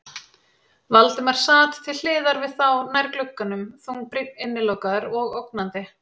Valdimar sat til hliðar við þá, nær glugganum, þungbrýnn, innilokaður og ógnandi.